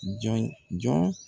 Jɔn jɔn